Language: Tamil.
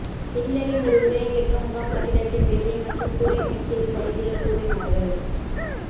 ஹிட்லரின் ஒரு உரையை கேட்க முகாம் கட்டிடத்தின் வெளியே மற்றும் கூரையின் உச்சியில் கைதிகள் கூடினார்கள்